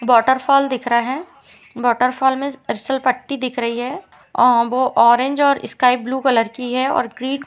Waterfall दिख रहा है। बॉटरफॉल में फिसल पट्टी दिख रही है और ऑरेंज और स्काइ ब्लू कलर की है और ग्रे --